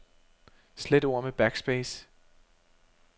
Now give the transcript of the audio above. Slet ord med backspace.